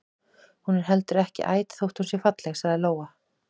Hún er heldur ekki æt þótt hún sé falleg, sagði Lóa.